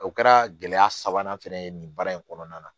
O kɛra gɛlɛya sabanan fana ye nin baara in kɔnɔna na